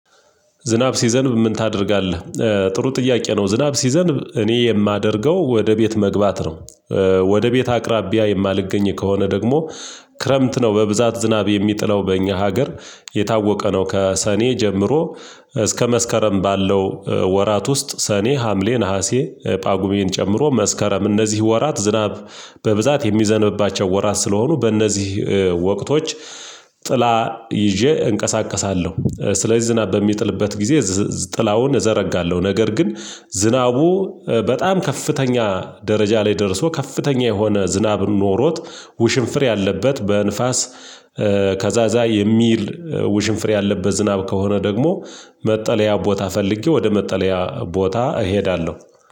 ዝናብ ሲዘንብ ምን ታደርጋለህ? ጥሩ ጥያቄ ነው ዝናብ ሲዘንብ እኔ የማደርገው ወደ ቤት መግባት ነው። ወደ ቤት አቅራቢያ የማልገኝ ከሆነ ደግሞ ክረምት ነው በብዛት ዝናብ የሚጥለው በእኛ ሀገር። የታወቀ ነው ከሰኔ ጀምሮ እስከ መስከረም ባለው። ወራት ውስጥ ሰኔ ሀምሌ ነሀሴ ጳጉሜን ጨምሮ መስከረም እነዚህ ወራት ዝናብ በብዛት የሚዘንብባቸው ወራት ስለሆኑ በእነዚህ ወቅቶች ጥላ ይዤ እንቀሳቀሳለሁ። ስለዚህ ዝናብ በሚጥልበት ጊዜ ጥላውን እዘረጋለሁ። ነገር ግን ዝናቡ በጣም ከፍተኛ ደረጃ ላይ ደርሶ ከፍተኛ የሆነ ዝናብ ኖሮት ውሽንፍር ያለበት በንፋስ። ከዛ ዛይ የሚል ውሽንፍሬ ያለበት ዝናብ ከሆነ ደግሞ መጠለያ ቦታ ፈልጌ ወደ መጠለያ ቦታ እሄዳለሁ።